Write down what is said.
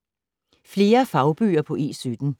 Flere fagbøger på E17